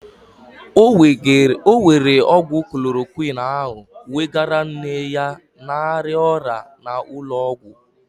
Ọ were ọgwụ klorokwin ahụ wegara nne ya na-arịa ọrịa n'ụlọ ọgwụ.